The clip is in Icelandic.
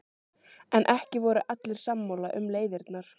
En ekki voru allir sammála um leiðirnar.